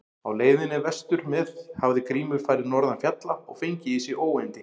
Á leiðinni vestur með hafði Grímur farið norðan fjalla og fengið í sig óyndi.